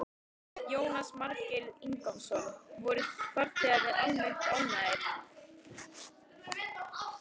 Jónas Margeir Ingólfsson: Voru farþegar almennt ánægðir?